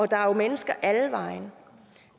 der er jo mennesker alle vegne